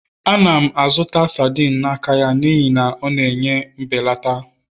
Ana m azụta sardines n'aka ya n'ihi na ọ na-enye mbelata